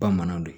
Bamananw do